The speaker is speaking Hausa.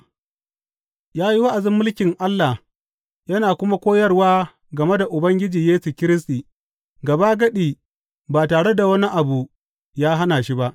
Ya yi wa’azin mulkin Allah yana kuma koyarwa game da Ubangiji Yesu Kiristi, gabagadi ba tare da wani abu ya hana shi ba.